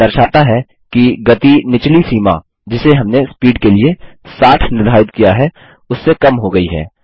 यह दर्शाता है कि गति निचली सीमा जिसे हमने स्पीड के लिए 60 निर्धारित किया है उससे कम हो गयी है